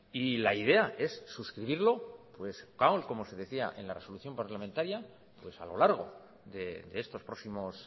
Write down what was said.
y la idea es suscribirlo como se decía en la resolución parlamentaria pues a lo largo de estos próximos